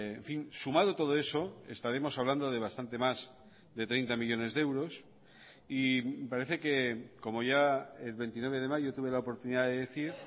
en fin sumado todo eso estaremos hablando de bastante más de treinta millónes de euros y parece que como ya el veintinueve de mayo tuve la oportunidad de decir